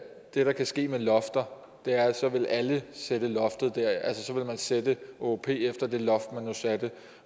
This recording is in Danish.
det der kan ske med lofter er at så vil alle sætte sætte åop efter det loft man nu satte